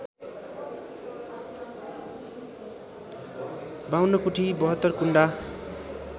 ५२ कुटी ७२ कुण्डा